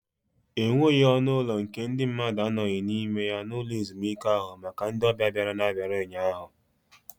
E nweghị ọnụ ụlọ nke ndị mmadu anoghị n'ime ya n'ụlọ ezumike ahụ maka ndị ọbịa bịara n'abalị ụnyaahụ.